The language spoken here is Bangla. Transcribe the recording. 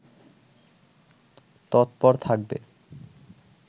তৎপর থাকবে